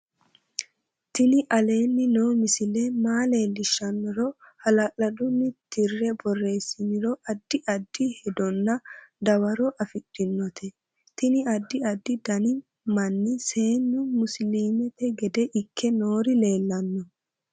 tini aleni noo misile maa leellishshannoro hala'lladunni tirre boreessiniro addi addi hedonna dawaro afidhinote tiniaddi addi dani manni seennu musiliimete gede ikke noori leellanno